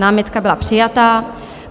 Námitka byla přijata.